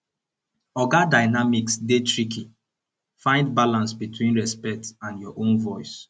oga dynamics dey tricky find balance between respect and your own voice